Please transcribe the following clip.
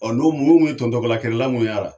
Ɔ n'o mun ye tɔntɔbalakɛlɛlaw minnu y'a la.